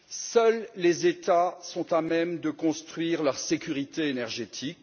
Seuls les États sont à même de construire leur sécurité énergétique.